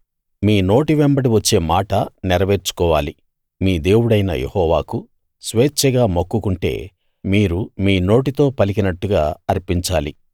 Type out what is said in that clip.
మీ నోటి వెంబడి వచ్చే మాట నెరవేర్చుకోవాలి మీ దేవుడైన యెహోవాకు స్వేచ్ఛగా మొక్కుకుంటే మీరు మీ నోటితో పలికినట్టుగా అర్పించాలి